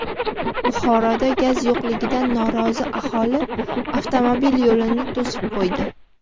Buxoroda gaz yo‘qligidan norozi aholi avtomobil yo‘lini to‘sib qo‘ydi.